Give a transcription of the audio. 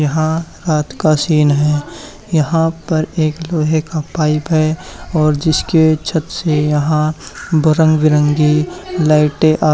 यहां रात का सीन है यहां पर एक लोहे का पाइप है और जिसके छत से यहां ब रंग बिरंगी लाइटे आ--